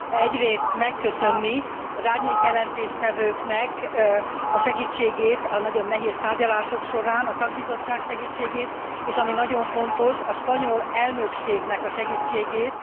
Egyrészt megköszönni az árnyék jelentéstevőknek a segítségét a nagyon nehéz tárgyalások során, a szakbizottság segítségét, és ami nagyon fontos, a spanyol elnökségnek a segítségét.